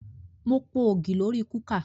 Mo po ògì lórí kúkà